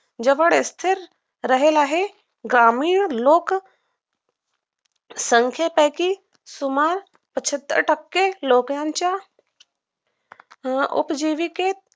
जवळ स्थिर राहील आहे ग्रामीण लोक संख्येपेकि सुमार पंचात्तर टक्के लोकांच्या अं उपजिविकेत